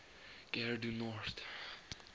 gare du nord